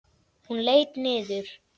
Hún leit niður.